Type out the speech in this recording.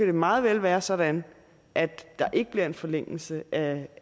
det meget vel være sådan at der ikke bliver en forlængelse af